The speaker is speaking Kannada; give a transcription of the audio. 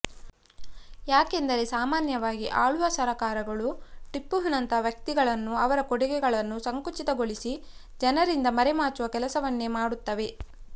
ಯಾಕೆಂದರೆ ಸಾಮಾನ್ಯವಾಗಿ ಆಳುವ ಸರಕಾರಗಳು ಟಿಪ್ಪುವಿನಂತಹ ವ್ಯಕ್ತಿತ್ವಗಳನ್ನು ಅವರ ಕೊಡುಗೆಗಳನ್ನು ಸಂಕುಚಿತಗೊಳಿಸಿ ಜನರಿಂದ ಮರೆಮಾಚುವ ಕೆಲಸವನ್ನೇ ಮಾಡುತ್ತವೆ